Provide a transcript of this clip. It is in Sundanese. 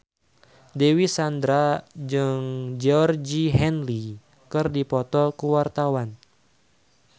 Dewi Sandra jeung Georgie Henley keur dipoto ku wartawan